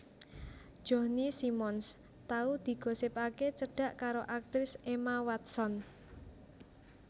Johnny Simmons tau digosipake cedhak karo aktris Emma Watson